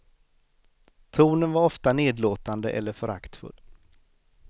Tonen var ofta nedlåtande eller föraktfull.